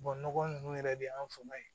nɔgɔ ninnu yɛrɛ de y'an fanga ye